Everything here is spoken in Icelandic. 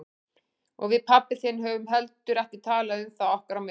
Og við pabbi þinn höfum heldur ekki talað um það okkar á milli.